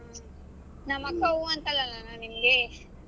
ನಮ್ ಅಕ್ಕ ಹ್ಮ್ ಅಂತಳಲ್ಲ ಅಣ್ಣಾ ನಿಮ್ಗೆ.